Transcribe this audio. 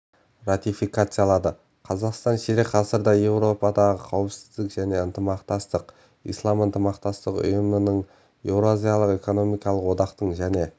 ратификациялады қазақстан ширек ғасырда еуропадағы қауіпсіздік және ынтымақтастық ислам ынтымақтастық ұйымдарының еуразиялық экономикалық одақтың және